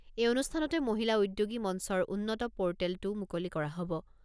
এই অনুষ্ঠানতে মহিলা উদ্যোগী মঞ্চৰ উন্নত পৰ্টেলটোও মুকলি কৰা হ'ব।